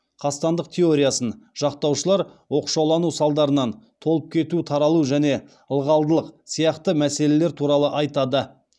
қастандық теориясын жақтаушылар оқшаулану салдарынан толып кету тарылу және ылғалдылық сияқты мәселелер туралы айтады